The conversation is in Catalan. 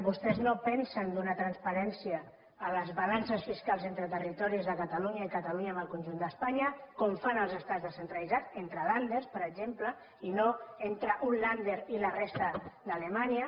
vostès no pensen donar transparència a les balances fiscals entre territoris de catalunya i catalunya amb el conjunt d’espanya com fan els estats descentralitzats entre länderper exemple i no entre un ländernya